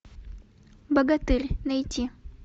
богатырь найти